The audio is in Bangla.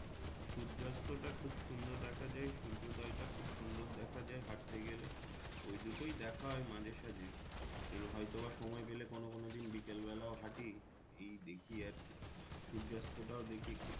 সূর্যাস্তটা খুব সুন্দর দেখা যায় সূর্যদয়টা খুব সুন্দর দেখা যায় হাঁটতে গেলে ওই দুটোই দেখা হয় মাঝে সাজে এই হয়তো আবার সময় পেলে কোনো কোনো দিন বিকাল বেলাও হাঁটি। এই দেখি আর কি সূর্যাস্তটাও দেখি একটু